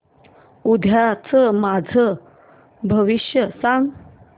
उद्याचं माझं भविष्य सांग